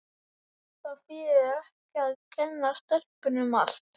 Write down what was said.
Það þýðir ekkert að kenna stelpunni um allt.